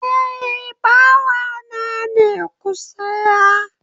Eh, bawa na ne, ku siya